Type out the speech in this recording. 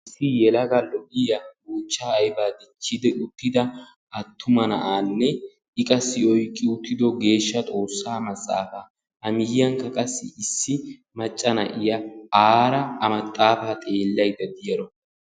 Issi yelaga lo'iya buuchchaa aybaa dichchidi uttida attuma na'aanne I qassi oyqqi uttido geeshsha xoossaa maxaafaa. A miyyiynkka qassi issi macca na'iya Sara a maxaafaa xeellaydda diyaro.